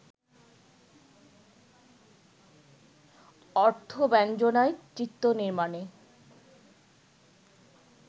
অর্থব্যঞ্জনায়, চিত্রনির্মাণে